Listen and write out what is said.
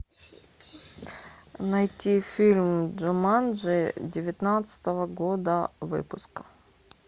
найти фильм джуманджи девятнадцатого года выпуска